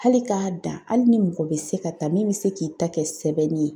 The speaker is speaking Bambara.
Hali k'a dan, hali ni mɔgɔ bɛ se ka ta, min bɛ se k'i ta kɛ sɛbɛnni ye